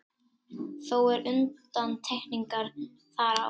Þó eru undantekningar þar á.